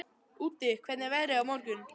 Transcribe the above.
Úddi, hvernig er veðrið á morgun?